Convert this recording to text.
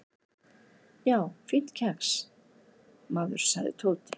"""Já, fínt kex, maður sagði Tóti."""